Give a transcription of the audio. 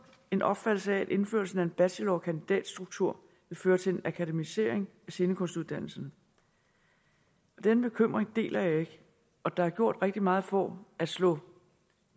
en opfattelse af at indførelsen af en bachelor og kandidatstruktur vil føre til en akademisering af scenekunstuddannelserne denne bekymring deler jeg ikke og der er gjort rigtig meget for at slå